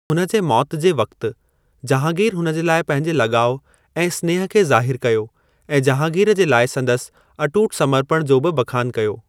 हुन जे मौत जे वक़्त, जाहांगीर हुन जे लाइ पंहिंजे लॻाउ ऐं स्नेह खे ज़ाहिर कयो ऐं जाहांगीर जे लाइ संदसि अटूट समर्पण जो बि बखानु कयो।